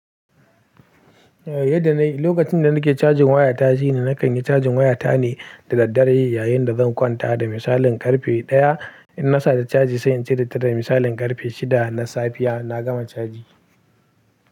Eh, yadda na yi, lokacin da nake cajin waya tashi ne, na kan yi cajin waya tane da daddare yayin da zan kwanta. Da misalin karfe 1:00 in na sata caji sai in cire ta da misalin karfe 6:00 na safiya na gama caji.